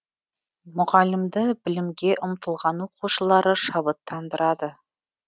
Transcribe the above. мұғалімді білімге ұмтылған оқушылары шабыттандырады